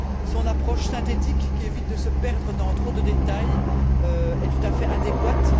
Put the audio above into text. Son approche synthétique qui évite de se perdre dans trop de détails est tout à fait adéquate.